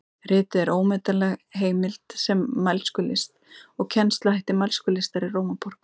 Ritið er ómetanleg heimild um mælskulist og kennsluhætti mælskulistar í Rómaborg.